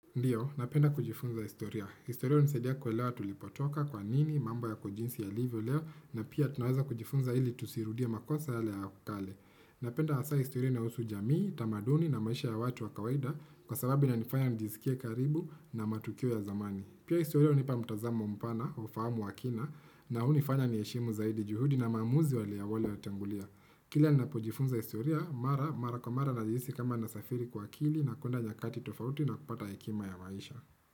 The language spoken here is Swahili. Ndiyo, napenda kujifunza historia. Historia unisaidia kwelewa tulipotoka kwa nini, mambo ya kujinsi ya livyo leo, na pia tunaweza kujifunza hili tusirudia makosa yale ya akale. Napenda hasa historia inahusu jamii, tamaduni na maisha ya watu wa kawaida, kwa sababu ina nifanya nijisikia karibu na matukio ya zamani. Pia historia unipa mutazamo mpana, ufahamu wakina, na hunifanya niheshimu zaidi juhudi na maamuzi waleawale ya tengulia. Kile nina pojifunza historia, mara, mara kwa mara na jihisi kama nasafiri kwa akili, na kwenda nyakati tufauti na kupata hekima ya maisha.